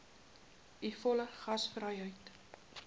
u volle gasvryheid